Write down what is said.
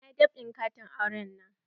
Na yi dab'in katin auren na.